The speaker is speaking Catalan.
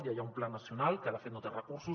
ja hi ha un pla nacional que de fet no té recursos